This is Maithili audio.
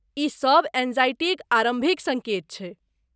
ई सभ एंग्जायटीक आरम्भिक सङ्केत छैक।